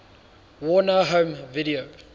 warner home video